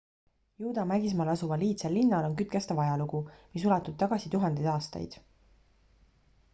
juuda mägismaal asuval iidsel linnal on kütkestav ajalugu mis ulatub tagasi tuhandeid aastaid